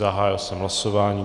Zahájil jsem hlasování.